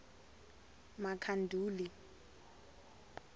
makhanduli